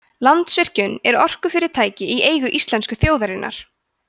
landsvirkjun er orkufyrirtæki í eigu íslensku þjóðarinnar